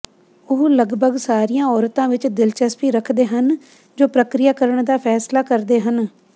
ਉਹ ਲਗਭਗ ਸਾਰੀਆਂ ਔਰਤਾਂ ਵਿੱਚ ਦਿਲਚਸਪੀ ਰੱਖਦੇ ਹਨ ਜੋ ਪ੍ਰਕਿਰਿਆ ਕਰਨ ਦਾ ਫੈਸਲਾ ਕਰਦੇ ਹਨ